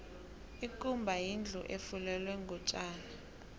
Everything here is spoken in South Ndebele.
ikumba yindlu efulelwe ngotjani